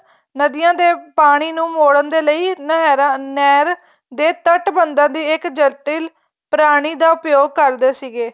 ਨਦੀਆਂ ਦੇ ਪਾਣੀ ਨੂੰ ਮੋੜਨ ਦੇ ਲਈ ਨਹਿਰਾਂ ਨਹਿਰ ਦੇ ਤੱਟ ਬੰਧਾ ਤੇ ਇੱਕ ਜਟਿਲ ਪ੍ਰਾਣੀ ਦਾ ਉਪਯੋਗ ਕਰਦੇ ਸੀਗੇ